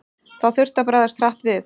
Þá þurfti að bregðast hratt við.